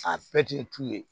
A bɛɛ tun ye tu ye